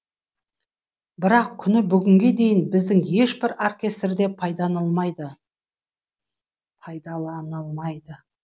бірақ күні бүгінге дейін біздің ешбір оркестрде пайдаланылмайды